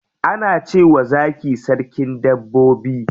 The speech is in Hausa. Ana cewa zaki sarkin dabbobi.